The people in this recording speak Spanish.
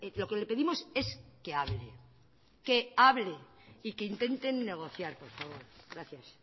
lo que le pedimos es que hable que hable y que intenten negociar por favor gracias